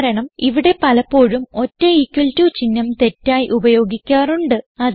കാരണം ഇവിടെ പലപ്പോഴും ഒറ്റ ഇക്വൽ ടോ ചിഹ്നം തെറ്റായി ഉപയോഗിക്കാറുണ്ട്